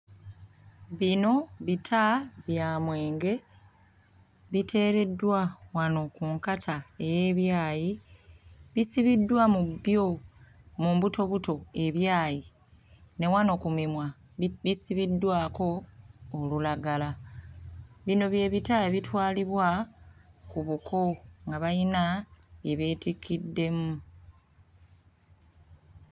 Bino bita bya mwenge biteereddwa wano ku nkata ey'ebyayi bisibiddwa mu byo mu mbutobuto ebyayi ne wano ku mimwa bi bisibiddwako olulagala. Bino bye bita ebitwalibwa ku buko nga bayina bye beetikkiddemu.